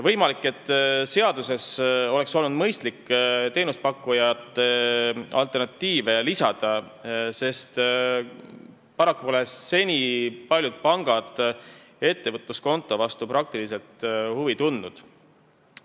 Võimalik, et seadusesse oleks olnud mõistlik lisada teenusepakkujate alternatiive, sest paraku pole seni paljud pangad ettevõtluskonto vastu praktiliselt huvi tundnud.